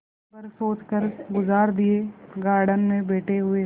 दिन भर सोचकर गुजार दिएगार्डन में बैठे हुए